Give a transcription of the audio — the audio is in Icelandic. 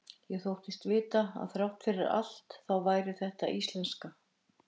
Ég þóttist vita að þrátt fyrir allt þá væri þetta íslenska.